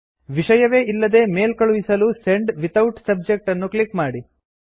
ವಿಷಯವೇ ಇಲ್ಲದೆ ಮೇಲ್ ಕಳುಹಿಸಲು ಸೆಂಡ್ ವಿಥೌಟ್ ಸಬ್ಜೆಕ್ಟ್ ಅನ್ನು ಕ್ಲಿಕ್ ಮಾಡಿ